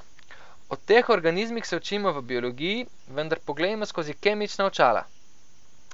O teh organizmih se učimo v biologiji, vendar poglejmo skozi kemična očala.